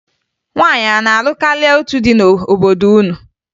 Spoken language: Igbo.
Nwaanyị a na-alụ karịa otu di n'obodo unu?